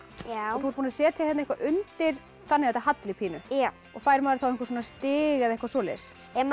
þú ert búin að setja eitthvað undir þannig að þetta halli pínu og fær maður þá stig eða eitthvað svoleiðis ef maður